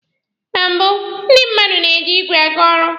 Na mbụ, ndị mmadụ na-eji igwe aga ọrụ.